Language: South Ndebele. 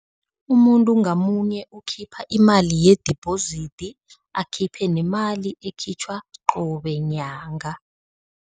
Umuntu ngamunye ukhipha imali yedibhozidi, akhiphe nemali ekhitjhwa qobe nyanga.